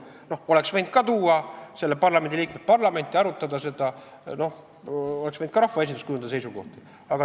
Parlamendiliikmed oleksid võinud tuua ka selle parlamenti ja seda arutada, rahvaesindus oleks võinud kujundada seisukoha.